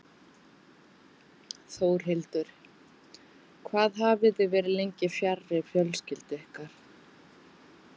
Þórhildur: Hvað hafið þið verið lengi fjarri fjölskyldu ykkar?